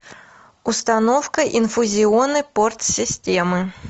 установка инфузионной порт системы